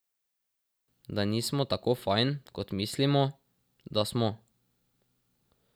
Da nismo tako fajn, kot mislimo, da smo.